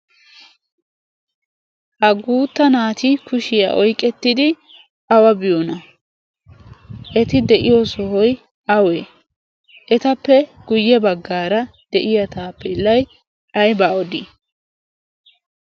ha guutta naati kushiyaa oyqqettidi awa biyoona? eti de'iyo sohoy awee etappe guyye baggaara de'iya taappelay ayba odii?